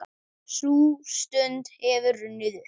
Sú stund hefur runnið upp.